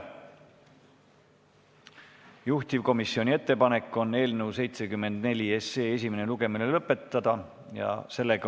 Juhtivkomisjoni ettepanek on eelnõu 74 esimene lugemine lõpetada.